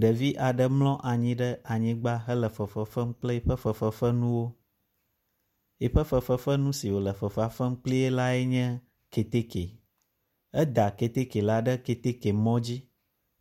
Ɖevi aɖe mlɔ anyi ɖe anyigba hele fefefem kple yiƒe fefefenuwo. Yi ƒe fefefenu si wo le fefea fem kpli lae nye keteke. Eda keteke la ɖe mɔ dzi